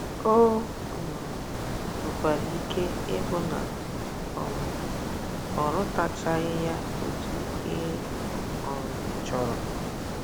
O um nwekwara ike ịbụ na um ọ rụtachaghị ya otú ị um chọrọ.